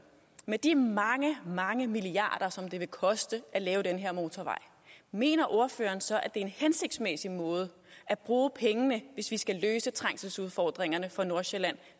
med de mange mange milliarder som det vil koste at lave den her motorvej mener ordføreren så er en hensigtsmæssig måde at bruge pengene hvis vi skal løse trængselsudfordringerne for nordsjælland